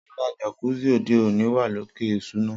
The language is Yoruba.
Rara, jacuzzi ode oni wa loke isuna.